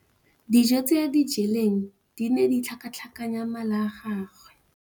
Dijô tse a di jeleng di ne di tlhakatlhakanya mala a gagwe.